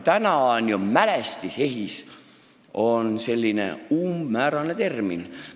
Praegu on ehitismälestis tõesti väga umbmäärane termin.